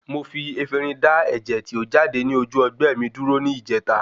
Mo fi Efinrin da ẹ̀jẹ̀ tí o jáde ní ojú ọgbẹ́ mi dúró ní ìjèta